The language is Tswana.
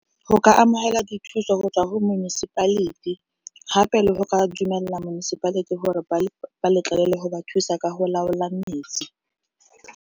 Go ka amogela dithuso go tswa go municipality gape le go ka dumelela municipality gore ba ba letlelele go ba thusa ka go laola metsi.